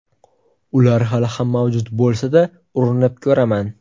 Ular hali ham mavjud bo‘lsa-da, urinib ko‘raman.